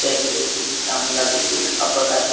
एक व्यक्ति त्या मुलाचे केस कापत आहे.